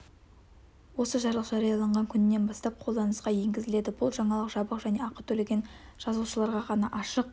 осы жарлық жарияланған күнінен бастап қолданысқа енгізіледі бұл жаңалық жабық және ақы төлеген жазылушыларға ғана ашық